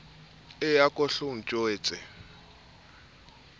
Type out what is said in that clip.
e a ko hlo ntjwetse